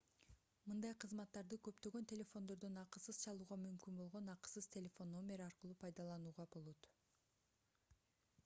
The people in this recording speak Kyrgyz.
мындай кызматтарды көптөгөн телефондордон акысыз чалууга мүмкүн болгон акысыз телефон номер аркылуу пайдаланууга болот